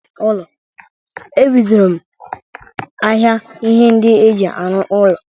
Ebidoro m ahịa ihe ndị e ji arụ ụnọ.